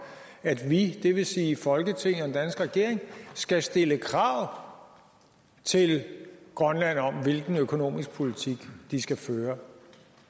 at vi det vil sige folketinget og den danske regering skal stille krav til grønland om hvilken økonomisk politik de skal føre